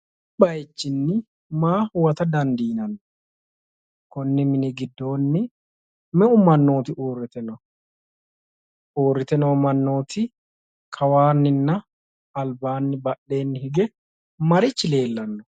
Kuni baayichini maa huwata dandiineemmo? konni mini giddoonni meu mannooti uurrite no? uurrite noo mannooti kawaanninna albaanni badheenni hige marich leellanno?